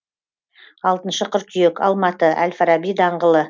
алтыншы қыркүйек алматы әл фараби даңғылы